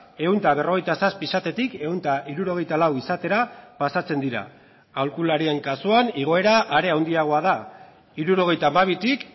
ehun eta berrogeita zazpi izatetik ehun eta hirurogeita lau izatera pasatzen dira aholkularien kasuan igoera are handiagoa da hirurogeita hamabitik